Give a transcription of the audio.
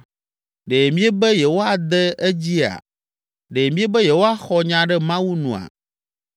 Ɖe miebe yewoade edzia? Ɖe miebe yewoaxɔ nya ɖe Mawu nua?